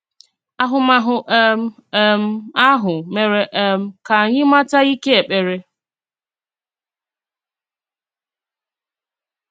Àhụ̀màhụ̀ um um ahụ mèrè um kà ányì màtà íké èkpèrè."